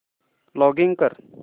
login कर